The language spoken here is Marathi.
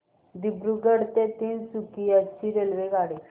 दिब्रुगढ ते तिनसुकिया ची रेल्वेगाडी